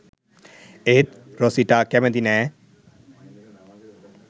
එත් රොසිටා කැමති නෑ